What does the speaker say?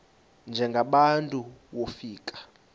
njengaba bantu wofika